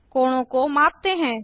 कोणों को मापते हैं